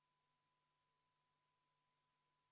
Helle-Moonika Helme, palun!